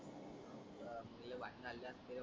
लय भाडण झाले जास्त